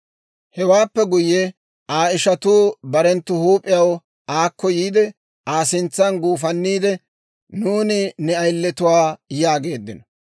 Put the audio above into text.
Hewaappe guyye Aa ishatuu barenttu huup'iyaw aakko yiide, Aa sintsan guufanniide, «Nuuni ne ayiletuwaa» yaageeddino.